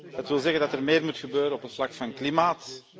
Dat wil zeggen dat er meer moet gebeuren op het vlak van klimaat.